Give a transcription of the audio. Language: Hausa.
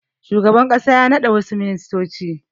Jiya shugaban ƙasa ya naɗa wassu ministoci